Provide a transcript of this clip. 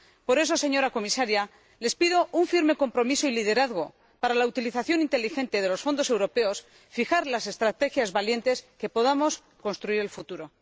Por eso, señora Comisaria, les pido un firme compromiso y liderazgo para la utilización inteligente de los Fondos europeos, para fijar unas estrategias valientes, de modo que podamos construir el futuro.